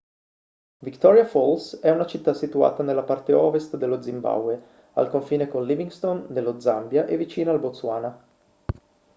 victoria falls è una città situata nella parte ovest dello zimbabwe al confine con livingstone nello zambia e vicina al botswana